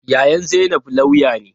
Yayan zainab lauya ne.